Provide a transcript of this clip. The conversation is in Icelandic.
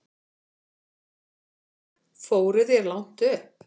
Fóruð þér langt upp?